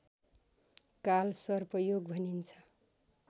कालसर्प योग भनिन्छ